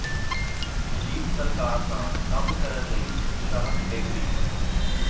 ਸੁਜੀਤ ਸਰਕਾਰ ਨਾਲ ਕੰਮ ਕਰਨ ਲਈ ਉਤਸ਼ਾਹਤ ਬਿੱਗ ਬੀ